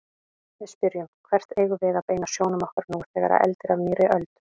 Við spyrjum: Hvert eigum við að beina sjónum okkar nú þegar eldir af nýrri öld?